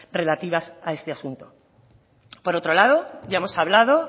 relativas a este asunto por otro lado ya hemos hablado